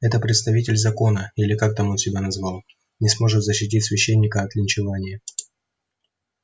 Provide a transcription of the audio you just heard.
этот представитель закона или как он там себя назвал не сможет защитить священника от линчевания